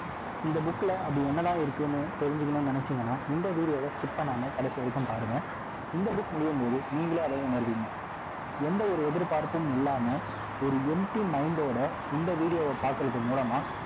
இந்த bookல, அப்படி என்னதான் இருக்குன்னு, தெரிஞ்சுக்கணும்னு நினைச்சீங்கன்னா, இந்த video வை skip பண்ணாம கடைசி வரைக்கும் பாருங்க இந்த book முடியும்போது நீங்களே, அதை உணர்வீங்க எந்த ஒரு எதிர்பார்ப்பும் இல்லாம, ஒரு enmpty mind ஓட இந்த video வை பார்க்கிறது மூலமா